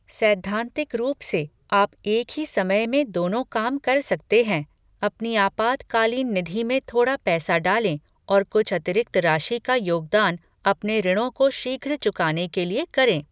सैद्धांतिक रूप से, आप एक ही समय में दोनों काम कर सकते हैं, अपनी आपातकालीन निधि में थोड़ा पैसा डालें और कुछ अतिरिक्त राशि का योगदान अपने ऋणों को शीघ्र चुकाने के लिए करें।